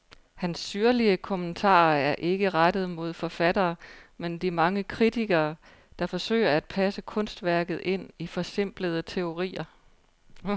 Hans syrlige kommentarer er ikke rettet mod forfatterne, men de mange kritikere, der forsøger at passe kunstværket ind i forsimplende teorier.